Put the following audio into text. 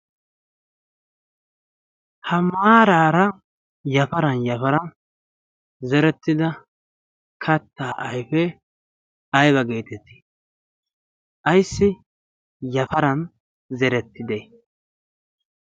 ha maaraara yafaran yafaran zerettida kattaa aifee aiba geetettii? aissi yafaran zerettide?